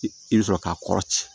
I bɛ sɔrɔ k'a kɔrɔ ci